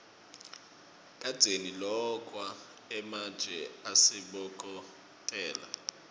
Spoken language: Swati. kadzeni lokwa ematje asabokotela